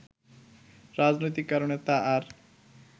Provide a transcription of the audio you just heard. রাজনৈতিক কারণে তা আর